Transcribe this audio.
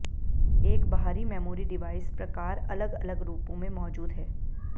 एक बाहरी memory device प्रकार अलग अलग रूपों में मौजूद है